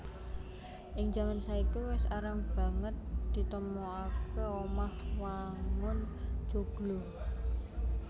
Ing jaman saiki wis arang banget ditemokaké omah wangun joglo